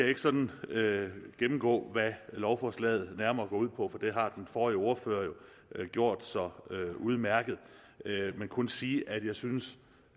ikke sådan gennemgå hvad lovforslaget nærmere går ud på for det har den forrige ordfører jo gjort så udmærket men kun sige at jeg synes